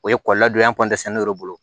O ye kɔlɔnlɔdonya de bolo